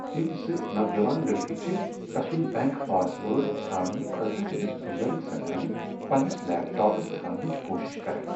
تِم زٕ نوجوان لڑکہٕ چھِ تَسُند بینک پاس وٲرڈ ژھانٛڑنہٕ خٲطرٕ تمِس بُزرگ زنانہِ پننِس لیپ ٹاپس ژھانٛڑنچ کوشِش کران۔